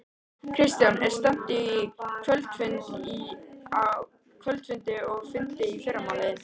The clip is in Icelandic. Kristján: Er stefnt að kvöldfundi og fundi í fyrramálið?